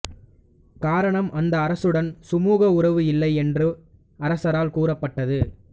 காரணம் அந்த அரசுடன் சுமுக உறவு இல்லை என்று அரசால் கூறப்பட்டது